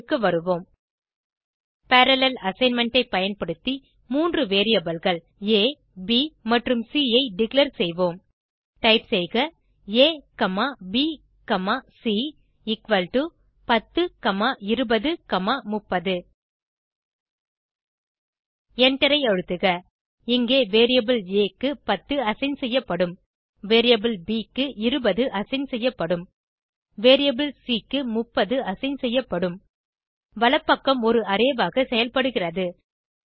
டெர்மினலுக்கு வருவோம் parallel assignment ஐ பயன்படுத்தி மூன்று variableகள் ஆ ப் சி ஐ டிக்ளேர் செய்வோம் டைப் செய்க A comma B comma C equal to 10 comma 20 comma 30 எண்டரை அழுத்துக இங்கே வேரியபிள் ஆ க்கு 10 அசைன் செய்யப்படும் வேரியபிள் ப் க்கு 20 அசைன் செய்யப்படும் வேரியபிள் சி க்கு 30 அசைன் செய்யப்படும் வலப்பக்கம் ஒரு அரே ஆக செயல்படுகிறது